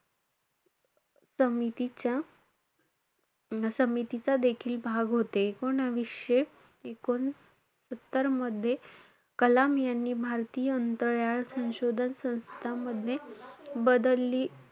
समितीच्या~ समितीचा देखील भाग होते. एकुणावीसशे एकोणसत्तरमध्ये कलाम यांनी भारतीय अंतराळ संशोधन संस्थामध्ये बदलली,